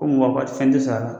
Ko fɛn tɛ sara la.